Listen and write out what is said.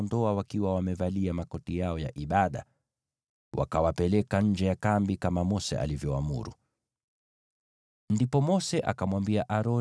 Hivyo wakaja na kuwaondoa, wakiwa bado wamevalia makoti yao ya ibada, wakawapeleka nje ya kambi, kama Mose alivyoamuru.